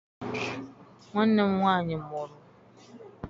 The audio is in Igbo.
Nwanne m nwaanyị mụrụ.